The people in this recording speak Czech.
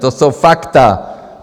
To jsou fakta.